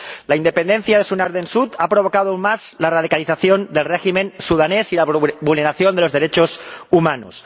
La independencia de Sudán del Sur ha intensificado aún más la radicalización del régimen sudanés y la vulneración de los derechos humanos.